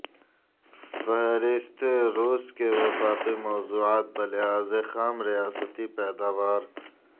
فہرست روس کے وفاقی موضوعات بلحاظ خام ریاستی پیداوار